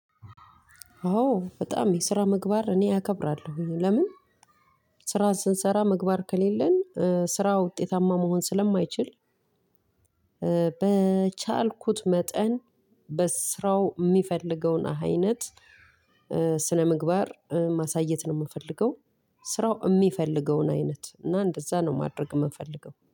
ኦ በጣም የስራ ምግባር እኔ አከብራለሁኝ ለምን ስራ ስንሰራ ምግባር ከሌለን ስራ ውጤታማ መሆን ስለማይችል። በቻልኩት መጠን በስራው የሚፈልገውን አይነት ስነምግባር ማሳየት ነው የምፈልገው። ስራው የሚፈልገውን አይነት እና እንደዛ ነው ማድረግ የምንፈልገው